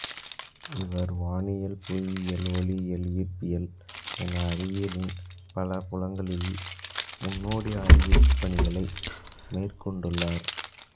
இவர் வானியல் புவியியல் ஒளியியல் ஈர்ப்பியல் என அறிவியலின் பல புலங்களில் முன்னோடி ஆய்வுப் பணிகளை மேற்கொண்டுள்ளார்